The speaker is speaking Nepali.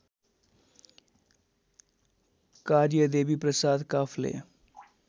कार्य देवीप्रसाद काफ्ले